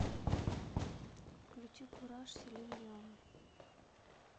включи кураж селин дион